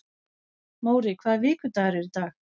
Móri, hvaða vikudagur er í dag?